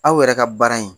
Aw yɛrɛ ka baara in